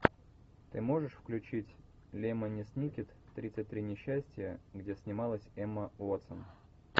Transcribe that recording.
ты можешь включить лемони сникет тридцать три несчастья где снималась эмма уотсон